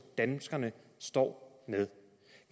danskerne står med